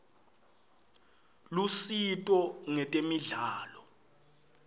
lusito ngetemidlalo